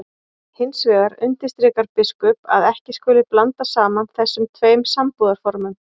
Hins vegar undirstrikar biskup að ekki skuli blanda saman þessum tveim sambúðarformum.